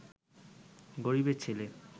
গরীবের ছেলে